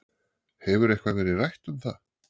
Hefur eitthvað verið rætt um það?